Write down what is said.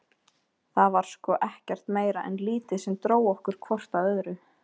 Það var sko ekkert meira en lítið sem dró okkur hvort að öðru.